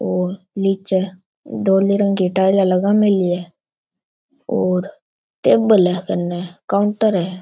और निचे धोली रंग की टाइल लगा मिली है और टेबल है कन्ने काउंटर है।